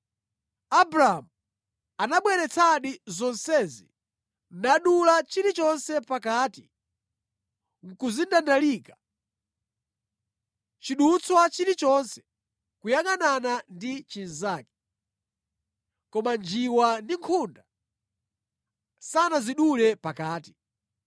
Abramu anabweretsadi zonsezi nadula chilichonse pakati nʼkuzindandalika, chidutswa chilichonse kuyangʼanana ndi chinzake; koma njiwa ndi nkhunda sanazidule pakati.